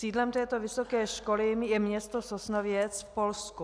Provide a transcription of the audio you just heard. Sídlem této vysoké školy je město Sosnowiec v Polsku.